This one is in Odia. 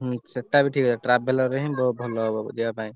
ସେଇଟା ବି ଗୋଟେ ଠିକ କଥା traveller ରେ ହିଁ ଭଲ ହବ ଯିବା ପାଇଁ।